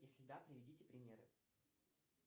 если да приведите примеры